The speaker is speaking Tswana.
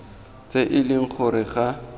tse e leng gore ga